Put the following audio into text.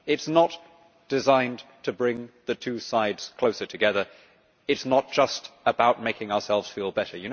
This is not designed to bring the two sides closer together. It is not just about making ourselves feel better.